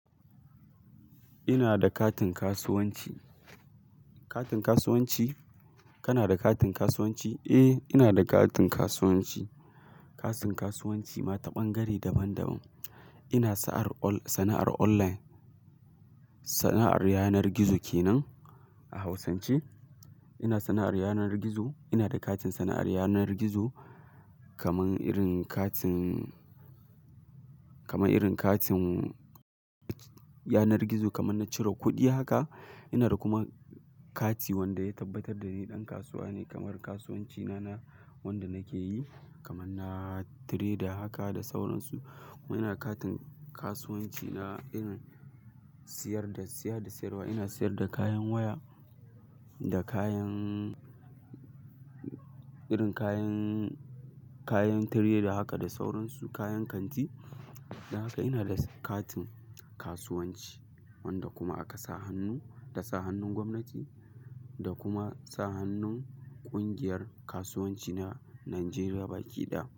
Ina da katin kasuwanci. Katin kasuwanci? Kana da katin kasuwanci? Eh, ina da katin kasuwanci. Katin kasuwanci ma ta bangare daban daban. Ina sa'ar online, sana'ar online. Sana'ar yanar gizo ke nan a Hausance. Ina sana'ar yanar gizo. Ina da katin sana'ar yanar gizo kamar irin katin, kamar irin katin yanar gizo kamar na cire kuɗi haka. Ina da kuma kati wanda ya tabbatar da ni ɗan kasuwa ne kamar kasuwanci na na wanda nake yi kamar na trader haka da sauransu. Kuma ina katin kasuwanci na irin siyar da, siya da siyarwa. Ina siyar da kayan waya da kayan irin kayan, kayan trader haka da sauransu kayan kanti. Haka ina da katin kasuwanci wanda kuma aka sa hannu, da sa hannun gwamnati da kuma sa hannun ƙungiyar kasuwanci na Najeriya baki da.